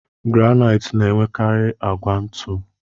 Granait na enwekari agwa ntu.